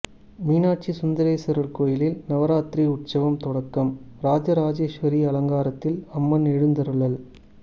மீனாட்சி சுந்தரேசுவரா் கோயிலில் நவராத்திரி உற்சவம் தொடக்கம்ராஜராஜேஸ்வரி அலங்காரத்தில் அம்மன் எழுந்தருளல்